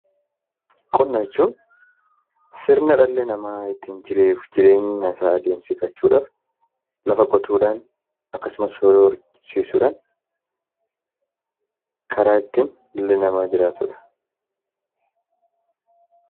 Qonna jechuun sirna dhalli namaa jiruu fi jireenya isaa adeemsifachuudhaaf, lafa qotuudhaan, akkasumas horii horsiisuudhaan, karaa ittiin dhalli namaa jiraatudha.